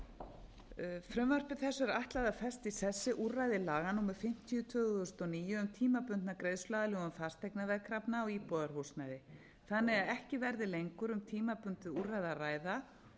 einu frumvarpi þessu er ætlað að festa í sessi úrræði laga númer fimmtíu tvö þúsund og níu um tímabundna greiðsluaðlögun fasteignaveðkrafna á íbúðarhúsnæði þannig að ekki verði lengur um tímabundið úrræði að ræða og er meðal